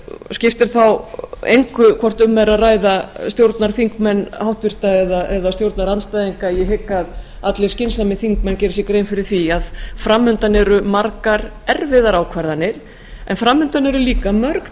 skiptir þá engu hvort um er að ræða stjórnarþingmenn háttvirtur eða stjórnarandstæðinga ég hygg að allir skynsamir þingmenn geri sér grein fyrir því að framundan eru margar erfiðar ákvarðanir en framundan eru líka mörg